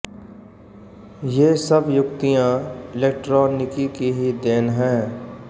ये सब युक्तियाँ इलेक्ट्रानिकी की ही देन हैं